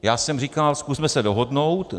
Já jsem říkal: Zkusme se dohodnout!